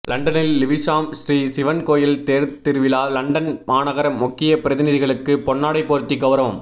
லண்டனின் Lewisham Sri Sivan கோயில் தேர்த் திருவிழா லண்டன் மாநகர முக்கிய பிரதிநிதிகளுக்கு பொன்னாடை போர்த்தி கெளரவம்